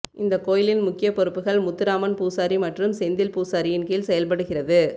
இந்தக் கோயிலின் முக்கிய பொறுப்புகள் முத்துராமன் பூசாரி மற்றும் செந்தில் பூசாரியின் கீழ் செயல்படுகிறது